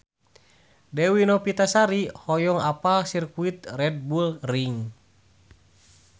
Dewi Novitasari hoyong apal Sirkuit Red Bull Ring